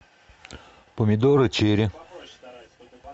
помидоры черри